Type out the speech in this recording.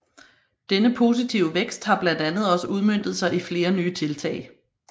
Denne positive vækst har blandt andet også udmøntet sig i flere nye tiltag